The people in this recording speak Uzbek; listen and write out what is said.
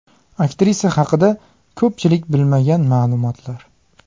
Aktrisa haqida ko‘pchilik bilmagan ma’lumotlar .